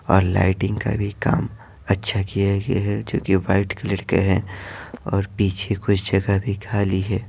और लाइटिंग का भी काम अच्छा किया गया है जो कि वाइट कलर का है और पीछे कुछ जगह भी खाली है।